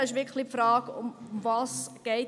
Der eine ist die Frage, worum es hier geht.